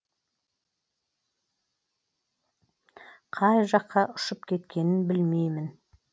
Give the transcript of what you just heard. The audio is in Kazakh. қай жаққа ұшып кеткенін білмеймін